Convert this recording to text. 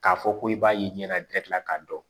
K'a fɔ ko i b'a ye i ɲɛna k'a dɔn